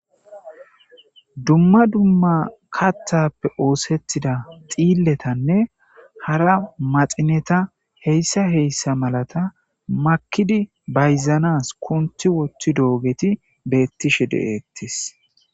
dumma dumma katthappe oosettida xiilletanne hara maxineta heyssa heyssa malata makidi bayzanas kunti wothti doogeti beettishe de7eettis